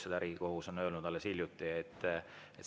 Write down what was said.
Seda on Riigikohus öelnud alles hiljuti.